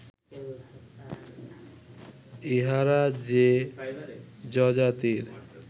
ইঁহারা যে যযাতির